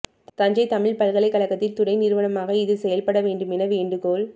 தஞ்சை தமிழ் பல்கலைக்கழகத்தின் துணை நிறுவனமாக இது செயல்பட வேண்டும் என வேண்டுகோள்